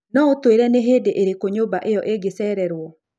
No ũtwĩre nĩ hĩndĩ ĩrĩkũ nyũmba ĩyo ĩngĩcererũo